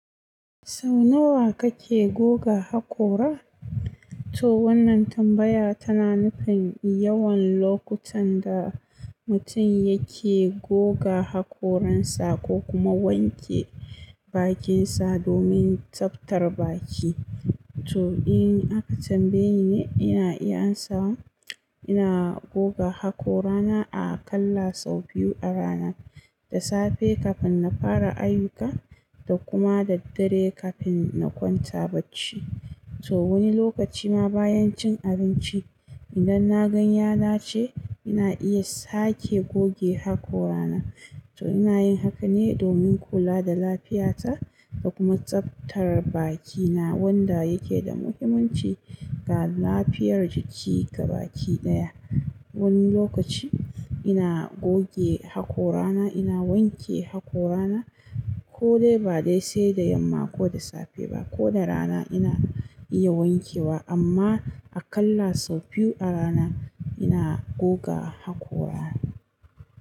Sau nawa kake goga hakora? To wannan tambaya tana nufin yawan lokutan da mutum yake goga hakoransa ko kuma wanke bakinsa domin tsaftar baki. To in aka tambaye ni, ina iya amsawa, ina goga haƙora na aƙalla sau biyu a rana, da safe kafin na fara ayyuka da kuma da dare kafin na kwanta bacci. To wani lokaci ma bayan cin abinci, idan na gan yada ce, ina iya sake goge haƙorana. To ina yin haka ne domin kula da lafiyata da kuma tsaftar bakina wanda yake da muhimmanci ga lafiyar jiki ga baki ɗaya. Wani lokaci ina goge haƙorana, ina wanke haƙorana kodai bade sai da yamma ko da safe bah koda rana iya wankewa amma aƙalla sau biyu a rana ina goga haƙorana.